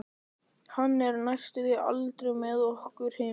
Hann er næstum aldrei með okkur hinum.